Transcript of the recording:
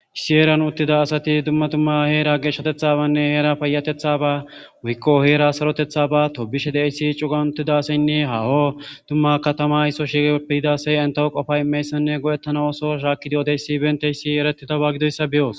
issi eeran uttida asati dumma tumma heera geeshshatethabanne heera payatethaba wikko heera sarotethaba tobishe deissi cugan uttidasaynne haaho dumma katama isso shipe yidasay entaho qofay imeyssenne go7ettana ooso shaakkidiyodeyssi benteyssi eretitawa gidoyssa beyoos